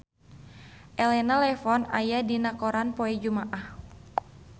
Elena Levon aya dina koran poe Jumaah